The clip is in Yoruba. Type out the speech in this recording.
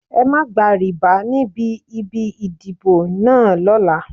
Ẹ má gba rìbá níbi ibi ìdìbò náà lọ́la.